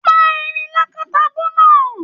Pa erin lakatabu náà!